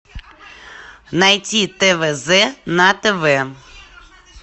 найти твз на тв